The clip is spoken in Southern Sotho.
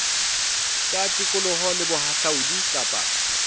tsa tikoloho le bohahlaudi kapa